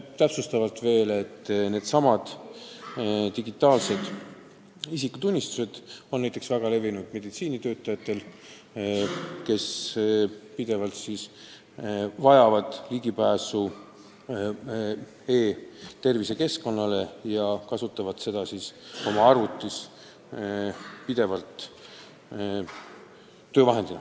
Täpsustavalt veel, et needsamad digitaalsed isikutunnistused on väga levinud näiteks meditsiinitöötajate seas, kes vajavad pidevalt ligipääsu e-tervise keskkonnale ja kes kasutavad neid oma arvutites töövahendina.